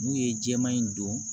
N'u ye jɛman in don